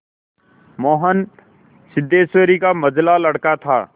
मोहन सिद्धेश्वरी का मंझला लड़का था